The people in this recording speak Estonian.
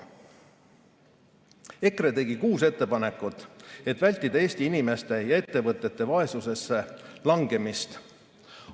EKRE tegi kuus ettepanekut, et vältida Eesti inimeste ja ettevõtete vaesusesse langemist.